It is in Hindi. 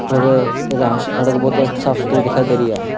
और सड़क बहुत साफ-सुथरी दिखाई दे रही है।